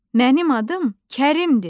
Mənim adım Kərimdir!